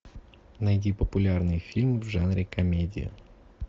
найди популярный фильм в жанре комедия